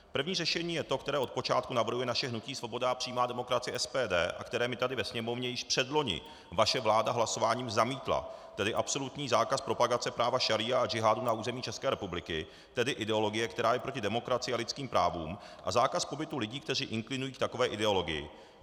První řešení je to, které od počátku navrhuje naše hnutí Svoboda a přímá demokracie, SPD, a které mi tady ve Sněmovně již předloni vaše vláda hlasováním zamítla, tedy absolutní zákaz propagace práva šaría a džihádu na území České republiky, tedy ideologie, která je proti demokracii a lidským právům, a zákaz pobytu lidí, kteří inklinují k takové ideologii.